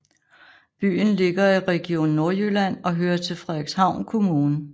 Byen ligger i Region Nordjylland og hører til Frederikshavn Kommune